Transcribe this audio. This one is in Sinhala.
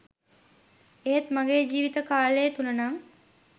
ඒත් ම‍ගේ ජීවිත කාලය තුල නං